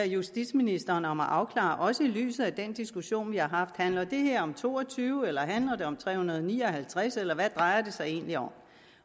justitsministeren om at afklare også set i lyset af den diskussion vi har haft handler det her om to og tyve handler det om tre hundrede og ni og halvtreds eller hvad drejer det sig egentlig om